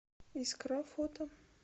искра фото